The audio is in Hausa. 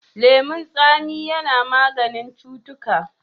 Lemon tsami ya na maganin cutuka.